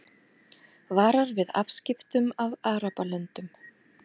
Varar við afskiptum af Arabalöndum